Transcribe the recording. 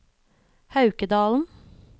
Haukedalen